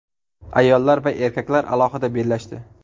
Ayollar va erkaklar alohida bellashdi.